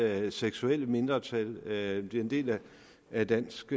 af seksuelle mindretal det er en del af dansk